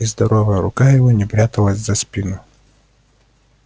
и здоровая рука его не пряталась за спину